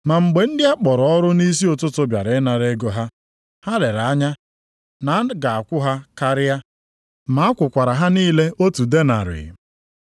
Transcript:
Ma mgbe ndị a kpọrọ ọrụ nʼisi ụtụtụ bịara ịnara ego ha, ha lere anya na a ga-akwụ ha karịa. Ma a kwụkwara ha niile otu denarị.